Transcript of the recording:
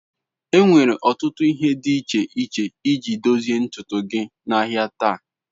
Enwere ọtụtụ ihe dị iche iche eji edozi ntutu dị n'ahịa taa.